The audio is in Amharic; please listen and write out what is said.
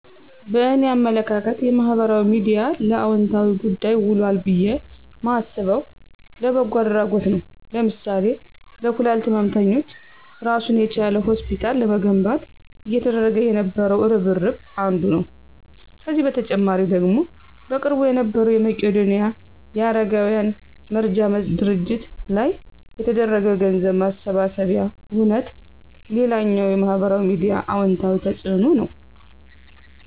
በእኔ አመለካከት የማህበራዊ ሚድያ ለአወንታዊ ጉዳይ ውሏል ብየ ማስበው፣ ለበጎ አድረጎት ነዉ ለምሳሌ ለኩላሊት ህመምተኞች እራሱን የቻለ ሆስፒታል ለመገንባት እየተደረገ የነበረው እርብርብ አንዱ ነው። ከዚህ በተጨማሪ ደግሞ በቅርቡ የነበረዉ የመቄዶንያ የአረጋውያን መርጃ ድርጅት ላይ የተደረገው የገንዘብ ማሰባሰቢያ ሁነት ሌላኛው የማህበራዊ ሚዲያ አወንታዊ ተፅእኖ ነዉ።